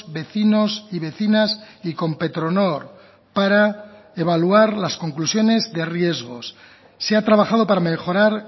vecinos y vecinas y con petronor para evaluar las conclusiones de riesgos se ha trabajado para mejorar